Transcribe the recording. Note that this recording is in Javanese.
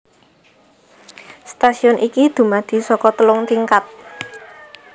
Stasiun iki dumadi saka telung tingkat